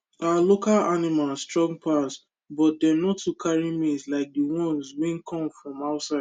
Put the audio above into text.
our local animals strong pass but dem no too carry meat like the ones wey come from outside